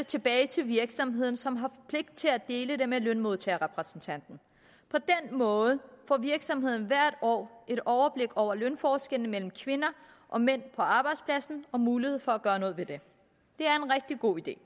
tilbage til virksomheden som har pligt til at dele det med lønmodtagerrepræsentanten på den måde får virksomheden hvert år et overblik over lønforskellene mellem kvinder og mænd på arbejdspladsen og en mulighed for at gøre noget ved det det er en rigtig god idé